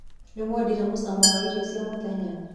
Nĩwendire mũcamo wa iro cia mũthenya?